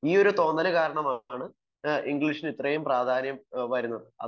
ഈയൊരു തോന്നല് കാരണമാണ് ഇംഗ്ലീഷിന് ഇത്രയും പ്രാധാന്യം വരുന്നത്